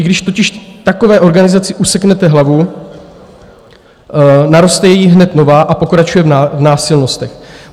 I když totiž takové organizaci useknete hlavu, naroste jí hned nová a pokračuje v násilnostech.